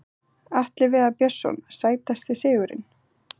Atli Viðar Björnsson Sætasti sigurinn?